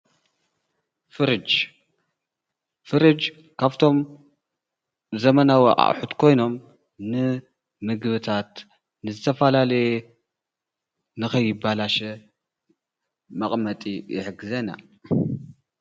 ፍረጅ ካብቶም ዘመናዊ ኣቁሑት ኮይኖም ንምግብታት ንዝተፈላለየ ንከይባለሸ መቀመጢ ይሕግዘና ።